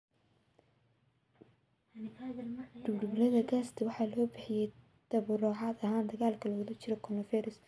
Dhululubada gaasta waxaa loo bixiyay tabarucaad ahaan dagaalka lagula jiro coronavirus.